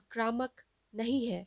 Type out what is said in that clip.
आक्रामक नहीं हैं